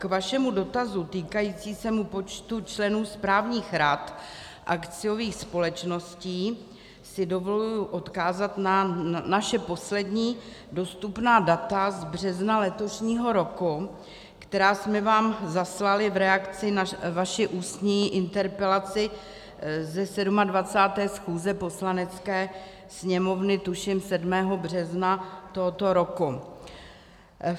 K vašemu dotazu týkajícímu se počtu členů správních rad akciových společností si dovoluji odkázat na naše poslední dostupná data z března letošního roku, která jsme vám zaslali v reakci na vaši ústní interpelaci z 27. schůze Poslanecké sněmovny, tuším 7. března tohoto roku.